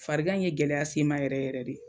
Farigan in ye gɛlɛya se n ma yɛrɛ yɛrɛ de